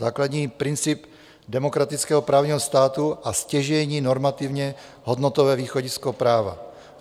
Základní princip demokratického právního státu a stěžejní normativně hodnotové východisko práva.